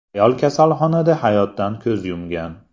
Ayol kasalxonada hayotdan ko‘z yumgan.